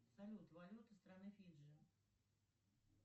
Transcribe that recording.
салют валюта страны фиджи